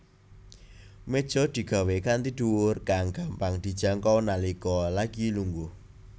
Méja digawé kanthi dhuwur kang gampang dijangkau nalika lagi lungguh